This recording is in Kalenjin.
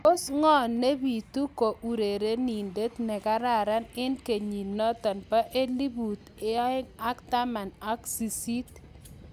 Tos ngo nepitu ko urerindet nekararan eng kenyit nitok po eplut ang ak taman aka sisit?